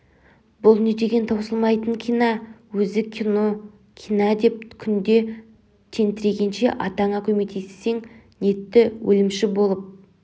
бұл не деген таусылмайтын кинә өзі кинө кинә деп күнде тентірегенше атаңа көмектессең нетті өлімші болып